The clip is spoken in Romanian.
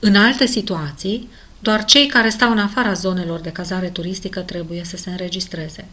în alte situații doar cei care stau în afara zonelor de cazare turistică trebuie să se înregistreze